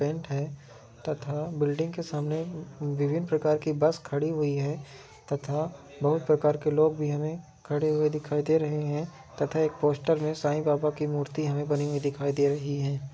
Tent है तथा building के सामने विभ्भिन प्रकार की बस खड़ी हुई है तथा बहुत प्रकार के लोग भी हमे खड़े हुए दिखाई दे रहे हैं तथा एक पोस्टर में साई बाबा की मूर्ति हमें बनी हुई दिखाई दे रही है।